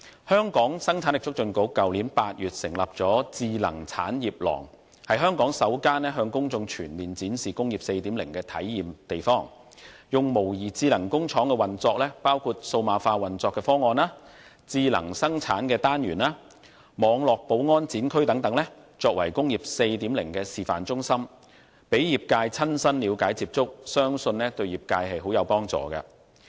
香港生產力促進局去年8月成立了智能產業廊，是香港首個向公眾全面展示"工業 4.0" 的體驗地方，以模擬智能工廠運作，包括數碼化運作的方案、智能生產單元和網絡保安展區等作為"工業 4.0" 的示範中心，供業界親身了解接觸，相信對業界很有幫助。